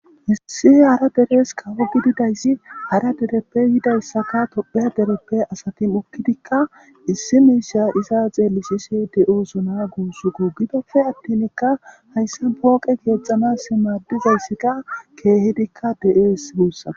issi hara deres kawo gididayssi hara dereppe yidayssaka tophe dereppe asati ukkidikka issi miisha iza xeellisise de7osona guussu gu gidofe attinikka hayssa pooqe keexxanas maaddizayssikka keehidikka de7ees guussako